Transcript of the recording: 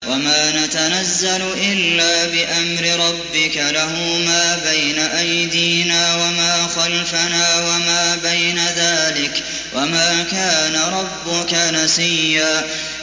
وَمَا نَتَنَزَّلُ إِلَّا بِأَمْرِ رَبِّكَ ۖ لَهُ مَا بَيْنَ أَيْدِينَا وَمَا خَلْفَنَا وَمَا بَيْنَ ذَٰلِكَ ۚ وَمَا كَانَ رَبُّكَ نَسِيًّا